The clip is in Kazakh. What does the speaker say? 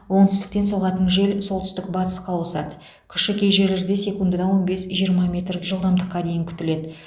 оңтүстіктен соғатын жел солтүстік батысқа ауысады күші кей жерлерде секундына он бес жиырма метр жылдамдыққа дейін күтіледі